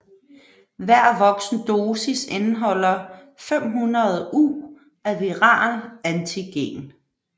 Hver voksen dosis indeholder 500 U af viral antigen